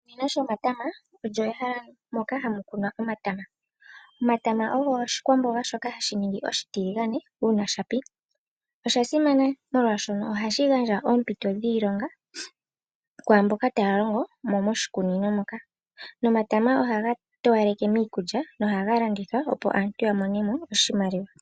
Oshikunino shomatama olyo ehala moka hamu kunwa omatama. omatama ogo oshikwamboga shoka hashi ningi oshitiligane uuna shapi. Oshasimana molwaashono ohashi gandja oompito dhiilonga kwaamboka taya longomo moshikunino . Nomatama ohaga towaleke miikulya nohaga landithwa opo aantu yamone oshimaliwa.